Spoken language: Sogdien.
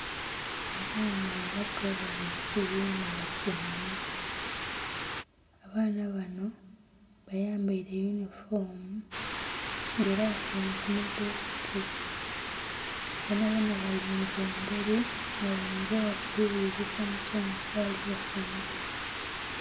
Abaana abato bali mukibina batyaime abaana bano bayambaire eyunifoomu nga era batyaime kumadhesike boonaboona balinze emberi nga ghainza oba bali ghulirisa musomesa ali basomesa.